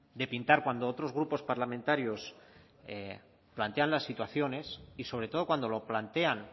de pintar cuando otros grupos parlamentarios plantean las situaciones y sobre todo cuando lo plantean